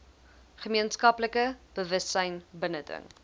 gemeenskaplike bewussyn binnedring